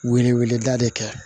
Wele weleda de kɛ